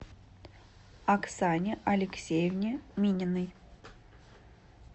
оксане алексеевне мининой